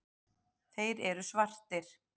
Þeir eru svartir.